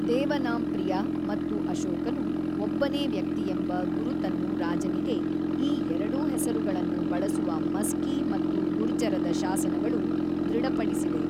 ದೇವನಾಂಪ್ರಿಯ ಮತ್ತು ಅಶೋಕನು ಒಬ್ಬನೇ ವ್ಯಕ್ತಿಯೆಂಬ ಗುರುತನ್ನು ರಾಜನಿಗೆ ಈ ಎರಡೂ ಹೆಸರುಗಳನ್ನು ಬಳಸುವ ಮಸ್ಕಿ ಮತ್ತು ಗುರ್ಜರದ ಶಾಸನಗಳು ದೃಢಪಡಿಸಿವೆ.